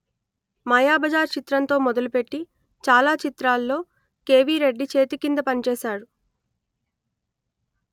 మాయాబజార్ చిత్రంతో మొదలుపెట్టి చాలా చిత్రాలలో కెవి రెడ్డి చేతికింద పనిచేశాడు